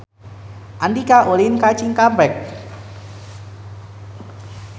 Andika ulin ka Cikampek